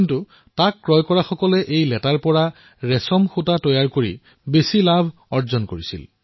কিন্তু ৰেচম ক্ৰয় কৰোতাসকলে ইয়াৰ পৰা বৃহৎ মুনাফা আদায় কৰিছিল